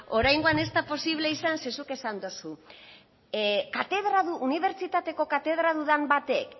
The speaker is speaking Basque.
oraingoan ez da posible esan ze zuk esan dozu unibertsitateko katedradun batek